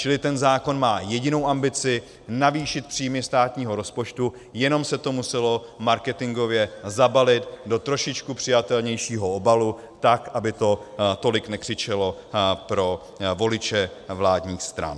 Čili ten zákon má jedinou ambici - navýšit příjmy státního rozpočtu, jenom se to muselo marketingově zabalit do trošičku přijatelnějšího obalu, tak aby to tolik nekřičelo pro voliče vládních stran.